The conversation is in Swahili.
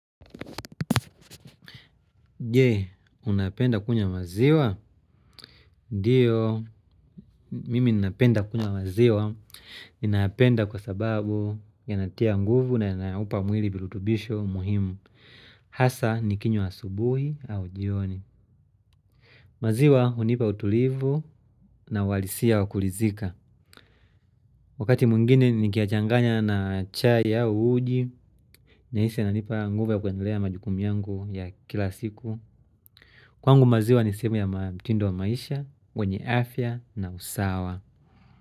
Je, unapenda kunywa maziwa? Ndio, mimi napenda kunywa maziwa. Ninayapenda kwa sababu yanatia nguvu na yanampa mwili virutubisho muhimu. Hasa, nikinywa asubuhi au jioni. Maziwa hunipa utulivu na walisia wakulizika. Wakati mwingine, nikiyachanganya na chai au uji. Na hisi yananipa nguvu ya kuendelea na majukumu yangu ya kila siku kwangu maziwa ni sehemu ya mtindo wa maisha wenye afya na usawa.